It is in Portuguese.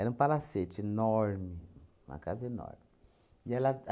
Era um palacete enorme, uma casa enorme. E ela